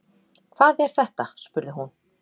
Hvað er þetta spurði hún.